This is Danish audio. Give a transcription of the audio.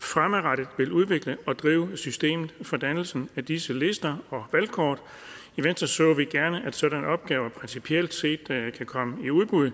fremadrettet vil udvikle og drive systemet for dannelsen af disse lister og valgkort i venstre så vi gerne at sådanne opgaver principielt set kan komme i udbud